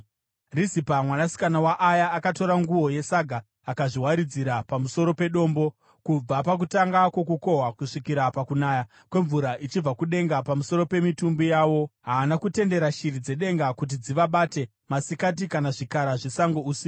Rizipa mwanasikana waAya akatora nguo yesaga akazviwaridzira pamusoro pedombo. Kubva pakutanga kwokukohwa kusvikira pakunaya kwemvura ichibva kudenga pamusoro pemitumbi yavo, haana kutendera shiri dzedenga kuti dzivabate masikati kana zvikara zvesango usiku.